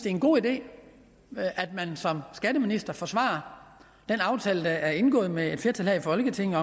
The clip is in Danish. en god idé at man som skatteminister forsvarer den aftale der er indgået med et flertal her i folketinget